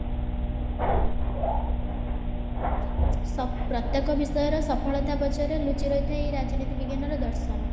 ସ ପ୍ରତ୍ୟକ ବିଷୟ ର ସଫଳତା ପଛରେ ଲୁଚି ରହିଥିବା ଏହି ରାଜନୀତି ବିଜ୍ଞାନ ର ଦର୍ଶନ